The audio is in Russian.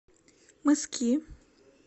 мыски